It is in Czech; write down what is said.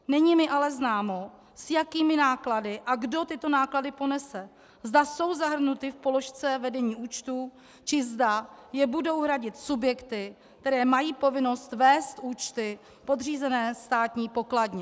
Není mi ale známo, s jakými náklady a kdo tyto náklady ponese, zda jsou zahrnuty v položce vedení účtů, či zda je budou hradit subjekty, které mají povinnost vést účty podřízené Státní pokladně.